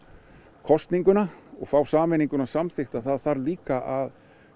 kosninguna og fá sameininguna samþykkta það þarf líka að